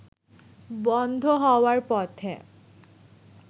বন্ধ হওয়ার পথে